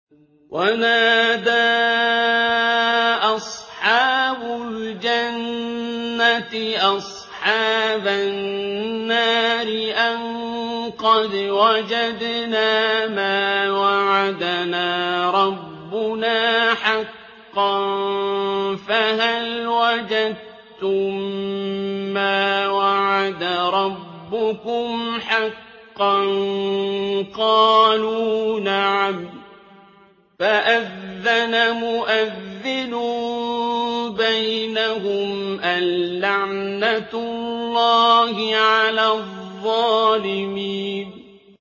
وَنَادَىٰ أَصْحَابُ الْجَنَّةِ أَصْحَابَ النَّارِ أَن قَدْ وَجَدْنَا مَا وَعَدَنَا رَبُّنَا حَقًّا فَهَلْ وَجَدتُّم مَّا وَعَدَ رَبُّكُمْ حَقًّا ۖ قَالُوا نَعَمْ ۚ فَأَذَّنَ مُؤَذِّنٌ بَيْنَهُمْ أَن لَّعْنَةُ اللَّهِ عَلَى الظَّالِمِينَ